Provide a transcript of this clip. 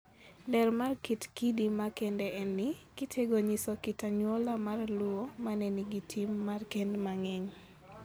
Ler mar kit kidi makendeni en ni, kitego nyiso kit anyuola mar Luo ma ne nigi tim mar kend mang'eny,